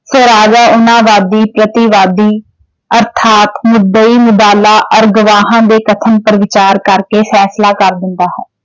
ਸੋ ਰਾਜਾ ਵਾਦੀ ਪ੍ਰਤੀਵਾਦੀ ਅਰਥਾਤ ਮੁਦੱਈ ਔਰ ਗਵਾਹਾਂ ਦੇ ਕਥਨ ਪਰ ਵਿਚਾਰ ਕਰਕੇ ਫੈਸਲਾ ਕਰ ਦਿੰਦਾ ਹੈ।